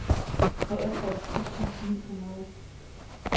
treogtres tusind ni hundrede